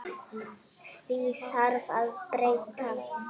Því þarf að breyta!